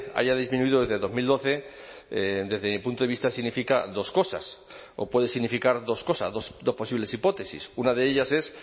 haya disminuido desde dos mil doce desde mi punto de vista significa dos cosas o puede significar dos cosas dos posibles hipótesis una de ellas es